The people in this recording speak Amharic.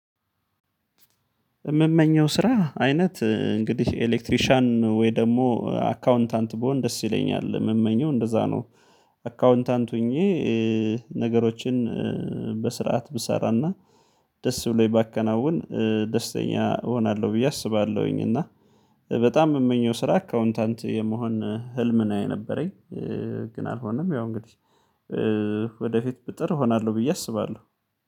የምመኘው ስራ አይነት እ እንግዲህ ኤሌክትሪሻን ወይ ደግሞ አካውንታንት ብሆን ደስ ይለኛል ምመኘው እንደዛ ነው። አካውንታንት ሆኜ እ ነገሮችን እ በስርዓት ብሰራና ደስ ብሎኝ ባከናውን እ ደስተኛ እሆናለሁ ብዬ አስባለሁኝ። እና በጣም የምመኘው ስራ አካውንታንት የመሆን ህልም ነው የነበረኝ እ ግን አልሆነም። ያው እንግዲህ እ ወደ ፊት ብጥር እሆናለሁ ብዬ አስባለሁ።